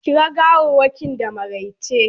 Kira gawarwakin da maraice!